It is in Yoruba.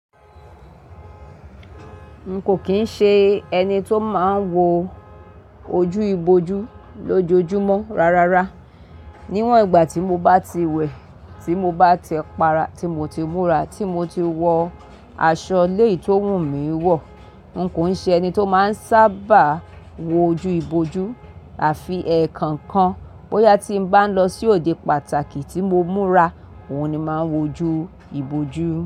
N kò kín ń ṣe ẹni tó máa ń wo ojú ibojú lójoojúmọ́ rárá. Níwọ̀n ìgbà tí mo bá ti wẹ̀, tí mo bá ti para, tí mo ti múra, tí mo ti wọ aṣọ ilé tí wún mi wọ̀, n kò ṣe ẹni tó máa ń sábà wo ojú ibojú àfi ẹ̀ẹ̀kọ̀kan. Bóyá tí n bá ń lọ sí òde pàtàkì tí mo múra, òun ni máa wo ojú ibojú.